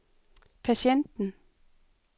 patienten